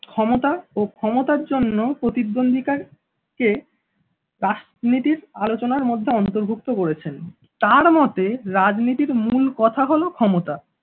ক্ষমতা ও ক্ষমতার জন্য প্রতিদ্বন্ধী কার কে রাজনীতির আলোচনার মধ্যে অন্তর্ভুক্ত করেছেন, তাঁর মতে রাজনীতির মূল কথা হলো ক্ষমতা